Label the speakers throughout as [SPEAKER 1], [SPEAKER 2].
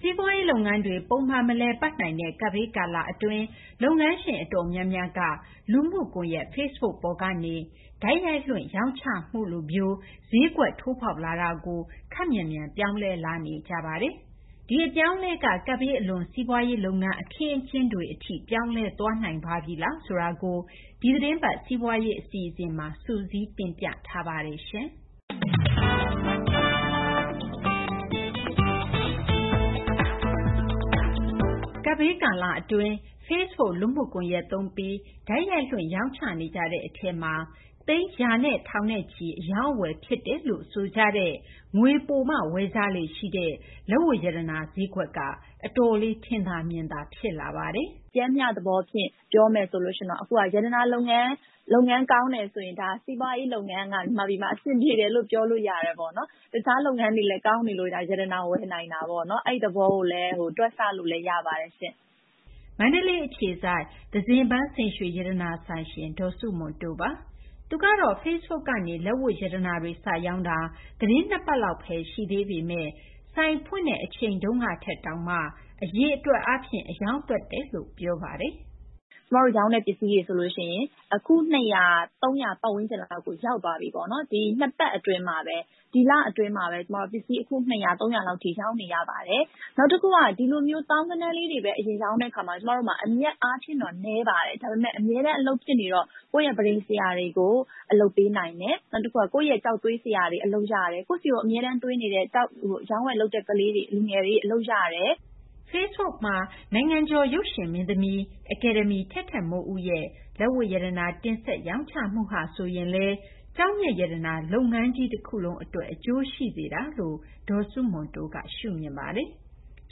[SPEAKER 1] စီးပွားရေး လုပ်ငန်းတွေ ပုံမှန် မလည်ပတ်နိုင်တဲ့ ကပ်ဘေးကာလ အတွင်း စီးပွားရေး လုပ်ငန်းရှင် အတော်များများ က လူမှုကွန်ယက် Facebook ပေါ်က တိုက်ရိုက်လွှင့် ရောင်းချမှုကို ခပ်မြန်မြန် ပြောင်းလဲလာနေကြပါတယ်။ ဒီအပြောင်းအလဲက ကပ်ဘေးအလွန် စီးပွားရေး လုပ်ငန်း အခင်းအကျင်းတွေ ဈေးကွက်တွေ အထိ ပြောင်းလဲသွားနိုင်ပါသလားဆိုတာကို ဒီသီတင်းပတ် စီးပွားရေး အစီအစဉ်မှာ မသိင်္ဂ ီထိုက် စုစည်းတင်ပြထားပါတယ်။ ကပ်ဘေး ကာလ Facebook လူမှုကွန်ရက် သုံးပြီး တိုက်ရိုက်လွှင့် ရောင်းချနေကြတဲ့ အထဲမှာ သိန်းရာ ထောင်ချီ အရောင်းအဝယ် ဖြစ်နေတယ်လို့ ဆိုကြတဲ့၊ ငွေပိုမှ ဝယ်ကြလေ့ ရှိတဲ့ လက်ဝတ်ရတနာ ဈေးကွက် အတော်လေး ထင်သာ မြင်သာ တွေ့လာရပါတယ်။ “ ပျမ်းမျှ သဘောဖြင့် ပြောမယ် ဆိုရင်တော့ အခုဟာ ရတနာ လုပ်ငန်း ကောင်းတယ်ဆိုရင် မြန်မာပြည်မှာ စီးပွားရေး လုပ်ငန်းက အဆင်ပြေတယ်လို့ ပြောလို့ ရတယ်ပေါ့နော်။ တခြား လုပ်ငန်းတွေလည်း ကောင်းနေလို့သာ ရတနာ ဝယ်နိုင်တာပေါ့နော်။ အဲဒီ သဘောကိုလည်း တွက်ဆလို့လည်း ရပါတယ်ရှင့်။ ” မန္တလေး အခြေစိုက် သဇင်ပန်း စိန်ရွှေရတနာဆိုင်ရှင် ဒေါ်စုမွန်တိုးပါ။ သူကတော့ Facebook ကနေ လက်ဝတ်ရတနာတွေ စရောင်းတာ သတင်း ၂ ပတ်လောက်ဘဲ ရှိသေးပေမယ့် ဆိုင်ဖွင့်တာထက်တောင်မှ အရောင်းသွက်တယ်လို့ ဆိုပါတယ်။ “ ကျမတို့ ရောင်းတဲ့ ပစ္စည်းတွေဆိုရင် အခု ၂၀၀-၃၀၀ လောက်ကို ရောက်သွားပြီပေါ့။ ၂ ပတ် အတွင်းမှာဘဲ ဒီလ အတွင်းမှာဘဲ ပစ္စည်း အခုရေ ၂၀၀-၃၀၀ လောက်ထိ ရောင်းနေရပါတယ်။ နောက်တခုက ဒီလိုမျိုး သောင်းဂဏန်းလေးတွေဘဲ အရင် ရောင်းတဲ့ အခါမှာ ကျမတို့မှာ အမြတ် အားဖြင့်တော့ နည်းပါတယ်။ ဒါပေမယ့် အမြဲတမ်း အလုပ်ဖြစ်နေတော့ ကိုယ့်ရဲ့ ပန်းတိမ် ဆရာတွေကို အလုပ်ပေးနိုင်တယ်။ နောက်တခုက ကိုယ့်ရဲ့ ကျောက်သွေး ဆရာတွေ အလုပ်ရတယ်။ ကိုယ့်ဆီကို အမြဲတမ်းသွင်းနေတဲ့ ကျောက် အရောင်းအဝယ် လုပ်တဲ့ လူငယ်တွေ အလုပ်ရတယ်။ ” Facebook မှာ နိုင်ငံကျော် ရုပ်ရှင်မင်းသမီး အကယ်ဒမီ ထက်ထက်မိုးဦးရဲ့ လက်ဝတ်ရတနာ တင်ဆက် ရောင်းချမှုဟာဆိုရင်လည်း ကျောက်မျက် ရတနာ လုပ်ငန်းကြီး တခုလုံး အတွက် အကျိုးရှိစေတာလို့လည်း မဆုမွန်တိုးက ပြောပါတယ်။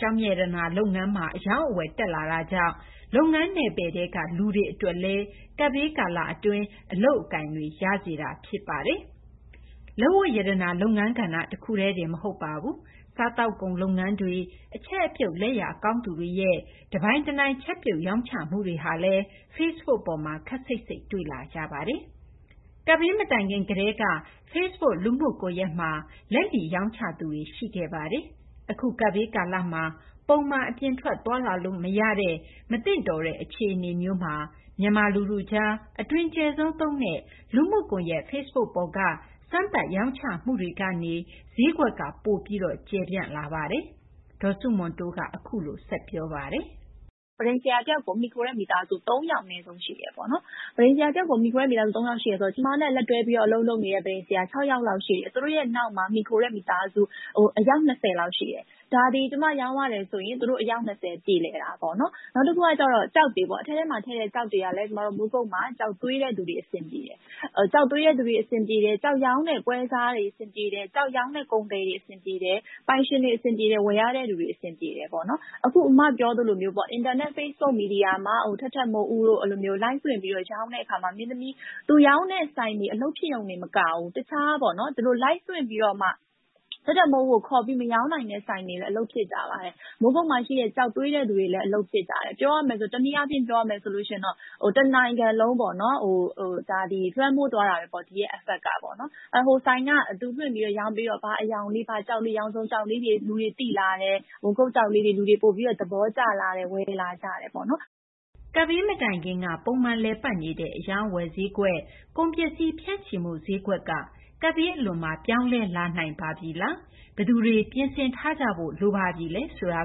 [SPEAKER 1] ကျောက်မျက် ရတနာ လုပ်ငန်းမှာ အရောင်းအဝယ် တက်လာတာကြောင့် ဒီ လုပ်ငန်း နယ်ပယ်ထဲက လူတွေလည်း ကပ်ဘေးကာလ အတွင်း အလုပ်အကိုင် ရစေတာ ဖြစ်ပါတယ်။ လက်ဝတ်ရတနာ တခုတည်းတင် မဟုတ်ပါဘူး။ စားသောက်ကုန် လုပ်ငန်းတွေ၊ အချက်အပြုတ် လက်ရာ ကောင်းသူတွေရဲ့ တပိုင်တနိုင် ချက်ပြုတ် ရောင်းချမှုတွေဟာလည်း Facebook ပေါ်မှာ ခပ်စိပ်စိပ် တွေ့လာရပါတယ်။ ကပ်ဘေး မတိုင်ခင် ကတည်းက Facebook လူမှုကွန်ရက်မှာ လက်လီ ရောင်းချသူတွေ ရှိခဲ့တာပါ။ အခု ကပ်ဘေး ကာလမှာ ပုံမှန် အပြင်ထွက် သွားလာလို့ မရတဲ့ မသင့်တဲ့ အခြေအနေမျိုးမှာ မြန်မာ လူထုကြား အတွင်ကျယ်ဆုံး သုံးတဲ့ လူမှုကွန်ရက် Facebook ပေါ်ကနေ စမ်းသပ် ရောင်းချမှုကနေ ဈေးကွက်လည်း ပိုပြီး ကျယ်ပြန့်လာပါတယ်။ ဒေါ်ဆုမွန်တိုးက အခုလို ဆက်ပြောပါတယ်။ “ ပန်တိမ်ဆရာ တယောက်ကို မှီခိုတဲ့ မိသားစု ၃ ယောက် အနည်းဆုံး ရှိတယ်ပေါ့နော်။ ပန်တိမ် ဆရာ တယောက်ကို မှီခိုတဲ့ မိသားစု ၃ ယောက် ရှိတယ်ဆိုတော့ ကျမနဲ့ လက်တွဲပြီး အလုပ်လုပ်နေတဲ့ ပန်တိမ် ဆရာ ၆ ယောက် ရှိတယ်။ သူတို့ နောက်မှာ မှီခိုတဲ့ မိသားစု အယောက် ၂၀ လောက် ရှိတယ်။ ကျမ ရောင်းရတယ်ဆိုရင် သူတို့ အယောက် ၂၀ ပြေလည်တာပေါ့နော်။ ” “ နောက်တခုက ကျောက်တွေ၊ အထဲမှာ ထည့်တဲ့ ကျောက်တွေကလည်း မိုးကုတ်မှာ ကျောက်သွေးတဲ့သူတွေ အဆင်ပြေတယ်။ ကျောက်ရောင်းတဲ့ ပွဲစားတွေ အဆင်ပြေတယ်။ ကျောက်ရောင်းတဲ့ ပွဲစားတွေ အဆင်ပြေတယ်။ ပိုင်ရှင်တွေ အဆင်ပြေတယ်။ ဝယ်ရတဲ့ လူတွေ အဆင်ပြေတယ်ပေါ့နော်။ ” “ အမ ပြောသလိုပေါ့ အင်တာနက် Facebook မှာ ထက်ထက်မိုးဦးတို့ Live လွှင့်ပြီး ရောင်းတဲ့ အခါမှာ သူရောင်းတဲ့ ဆိုင်တွေ အလုပ်ဖြစ်ရုံတင် မကဘူး ထက်ထက်မိုးဦးနဲ့ မရောင်းနိုင်တဲ့ ဆိုင်တွေလည်း အလုပ်ဖြစ်ကြပါတယ်။ မိုးကုတ်မှာ ရှိတဲ့ ကျောက်သွေးတဲ့သူတွေလည်း အလုပ်ဖြစ်ကြတယ်။ ပြောရမယ်ဆိုရင် တနိုင်ငံလုံး လွှမ်းမိုးသွားတာပါဘဲ။ ဟိုဆိုင်က သူလွှင့်ပြီးတော့ ရောင်းပေးသွားတဲ့ ဘာအရောင်လေး ဘာကျောက်လေး။ ရောင်စုံ ကျောက်လေးတွေ လူတွေ သိလာတယ်။ မိုးကုတ် ကျောက်လေးတွေ လူတွေ ပိုပြီး သဘောကျလာတယ် ဝယ်လာကြတယ်ပေါ့နော်။ ” ကပ်ဘေး မတိုင်ခင်က ပုံမှန် လည်ပတ် နေတဲ့ အရောင်းအဝယ် ဈေးကွက်၊ ကုန်ပစ္စည်း ဖြန့်ချိမှု ဈေးကွက်က ကပ်ဘေး အလွန်မှာ ပြောင်းလဲလာနိုင်ပါပြီလား ဘယ်သူတွေ ပြင်ဆင်ထားကြဖို့ လိုပြီလဲ ဆိုတာ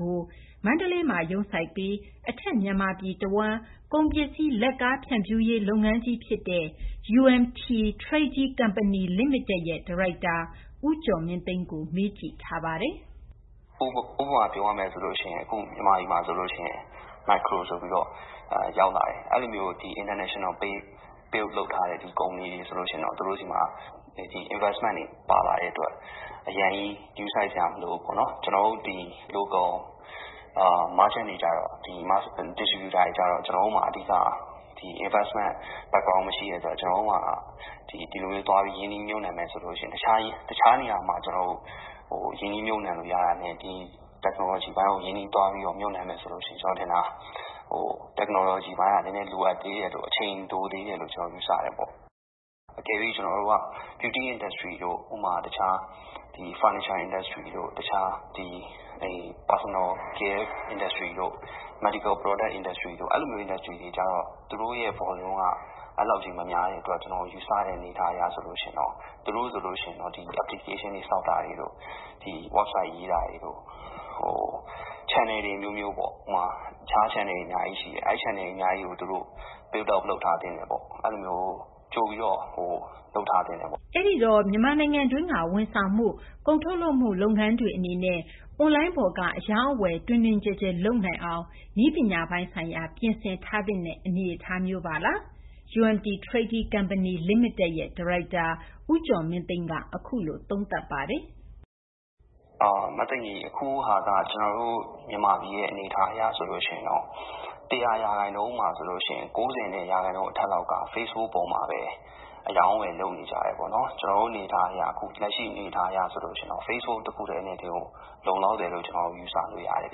[SPEAKER 1] ကိုလည်း မန္တလေးမှာ ရုံးစိုက်ပြီး အထက်မြန်မာပြည် တဝန်းကို ကုန်ပစ္စည်း လက်ကားဖြန့်ဖြူးရေး လုပ်ငန်းကြီး ဖြစ်တဲ့ UMT Trading Company Ltd. ရဲ့ ဒါရိုက်တာ ဦးကျော်မင်းသိန်းကို မေးကြည့်ပါတယ်။ “
[SPEAKER 2] ဥပမာ ပြောရရင် အခု မြန်မာပြည်မှာ Macro ဆိုပြီးတော့ ရောက်လာတယ်။ အဲလိုမျိုး နိုင်ငံတကာ ကုမ္ပဏီတွေ ဆိုလို့ ရှိရင်တော့ သူတို့ဆီမှာ ရင်းနှီးမြှုပ်နှံမှု ပါလာတဲ့ အတွက် အရမ်းကြီး ဂရုစိုက်စရာ မလိုဘူးပေါ့နော်။ ကျနော်တို့ ပြည်တွင်း ကုန်သည်တွေ ကျတော့ ဖြန့်ချိရေး သမားတွေကျတော့ ကျနော်တို့မှာ အဓိက နောက်ခံ ရင်းနှီးမြှုပ်နှံမှု မရှိတဲ့ အတွက် ဒီလိုမျိုး သွားပြီး ရင်းနှီးမြှုပ်နှံမယ် ဆိုလို့ ရှိရင် တခြား နေရာမှာ ရင်းနှီးမြှုပ်နှံလို့ ရတာနဲ့ ဒီ နည်းပညာပိုင်းကို သွားပြီး ရင်းနှီးမြှုပ်နှံမယ်ဆိုလို့ ရှိရင် ကျနော် ထင်တာက နည်းပညာပိုင်းက နည်းနည်း လိုသေးတယ်။ အချိန် လိုသေးတယ်လို့ ယူဆတယ်။ ” “ ဒါပေမယ့် ကျနော်တို့က အလှကုန်တို့၊ တခြား ပရိဘောဂ လုပ်ငန်းတို့ ၊ လူသုံးကုန် ဆေးပစ္စည်း လုပ်ငန်း ကဏ္ဍတွေ အတွက်တော့ သူတို့ရဲ့ ကုန်ပမာဏက အဲလောက်ကြီး မများတဲ့ အတွက် သူတို့ ဆိုရင်တော့ ဒီ Apps ဆောက်တာတွေ၊ Website ရေးတာတွေ၊ Channel တွေ အမျိုးမျိုးပေါ့ တခြား Channel တွေလည်း အများကြီး ရှိပါတယ်။ သူတို့ အနေနဲ့ စပြီး တည်ဆောက်ထားသင့်တယ်။ ကြိုပြီး လုပ်ထားသင့်တယ်ပေါ့။
[SPEAKER 1] ” အဲဒီတော့ မြန်မာနိုင်ငံတွင်းက ဝန်ဆောင်မှု ကုန်ထုတ်လုပ်မှု လုပ်ငန်းတွေ အနေနဲ့ အွန်လိုင်းပေါ်က အရောင်းအဝယ် တွင်တွင်ကျယ်ကျယ် လုပ်နိုငအောင် နည်းပညာပိုင်းဆိုင်ရာ ပြင်ဆင်ထားသင့်တဲ့ အနေအထားမျိုးပါလား - UMT Trading Company Ltd. ရဲ့ ဒါရိုက်တာ ဦးကျော်မင်းသိန်း ကတော့ အခုလို သုံးသပ်ပါတယ်။
[SPEAKER 2] “ အခုဟာက ကျနော်တို့ မြန်မာပြည် အနေအထား အရ ဆိုရင်တော့ ၁၀၀ ရာခိုင်နှုန်းမှာ ၉၀ ရာခိုင်နှုန်း အထက်က Facebook ပေါ်မှာဘဲ အရောင်းအဝယ် လုပ်နေကြတာပေါ့နော်။ ကျနော်တို့ အနေအထားအရ လက်ရှိ အနေအထား အရ Facebook တခုတည်းနဲ့တင် လုံလောက်တယ်လို့ ကျနော်တို့ ယူဆလို့ ရတယ်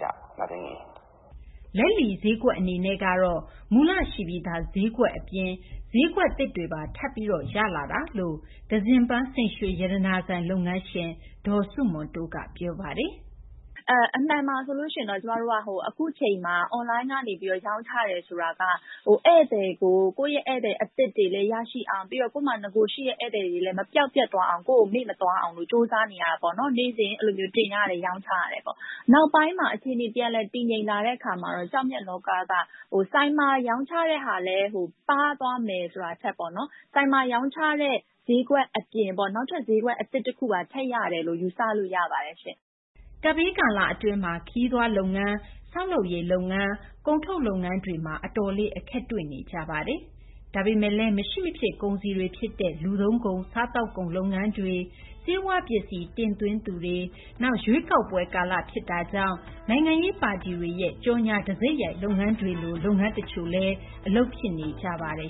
[SPEAKER 2] ဗျ။” လက
[SPEAKER 1] ်လီ ဈေးကွက် အနေနဲ့ကတော့ မူလရှိပြီးသား ဈေးကွက် အပြင်ကို တခြား ဈေးကွက်သစ်တွေပါ ရလာစေတယ်လို့ သဇင်ပန်း စိန်ရွှေရတနာဆိုင် လုပ်ငန်းရှင် ဒေါ်ဆုမွန်တိုးက ပြောပါတယ်။ “ အမှန်မှာ ဆိုရင် ကျမတို့က အခုအချိန်မှာ အွန်လိုင်းကနေ ရောင်းချတယ် ဆိုတာက ဧည့်သည် အသစ်တွေလည်း ရအောင်၊ နောက် ကိုယ့်မှာ ရှိပြီးသား ဧည့်သည်တွေလည်း မပျောက်ပျက်သွားအောင်၊ ကိုယ့်ကို မေ့မသွားအောင် ကြိုးစားနေရတာပေါ့နော်။ နေ့စဉ် တင်ရတယ် ရောင်းရတယ်ပေါ့။ နောက်ပိုင်းမှာ အခြေအနေ ပြန်လည် တည်ငြိမ်လာတဲ့ အခါမှာတော့ ကျောက်မျက် လောက က ဆိုင်မှာ ရောင်းတဲ့ဟာ ပါးသွားမယ် ဆိုတာထက်ပေါ့နော် ဆိုင်မှာ ရောင်းချတဲ့ ဈေးကွက် အပြင် နောက်ထပ် ဈေးကွက် အသစ် တခု ထပ်ရတယ်လို့ ပြောလို့ ရပါတယ်ရှင့်။” ကပ်ဘေး ကာလ အတွင်း ခရီးသွား လုပ်ငန်း၊ ဆောက်လုပ်ရေး လုပ်ငန်း၊ ကုန်ထုတ်လုပ်ငန်းတွေမှာ အတော်လေး အခက်တွေ့နေကြပါတယ်။ ဒါပေမယ့်လည်း မရှိမဖြစ် ကုန်စည်တွေ ဖြစ်တဲ့ လူသုံးကုန်၊ စားသောက်ကုန် လုပ်ငန်း၊ ဆေးဝါးပစ္စည်း တင်သွင်းသူတွေ၊ နောက် ရွေးကောက်ပွဲ ကာလ ဖြစ်တာကြောင့် နိုင်ငံရေး ပါတီတွေရဲ့ ကြော်ငြာ တံဆိပ်ရိုက် လုပ်ငန်းတွေလို လုပ်ငန်း တချို့လည်း အလုပ်ဖြစ်နေပါတယ်